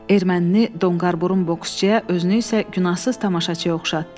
Ermənini donqarburun boksçuyə, özünü isə günahsız tamaşaçıya oxşatdı.